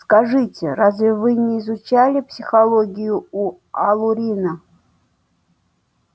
скажите разве вы не изучали психологию у алурина